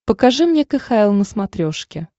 покажи мне кхл на смотрешке